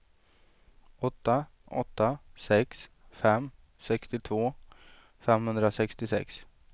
åtta åtta sex fem sextiotvå femhundrasextiosex